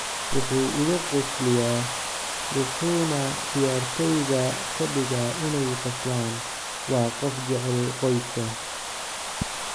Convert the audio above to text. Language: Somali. “Wuxuu iga qosliyaa, wuxuuna ciyaartoyda ka dhigaa inay qoslaan; waa qof jecel qoyska.”